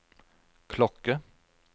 klokke